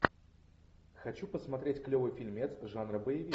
хочу посмотреть клевый фильмец жанра боевик